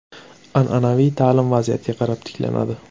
An’anaviy ta’lim vaziyatga qarab tiklanadi.